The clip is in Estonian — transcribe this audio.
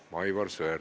Aivar Sõerd, palun!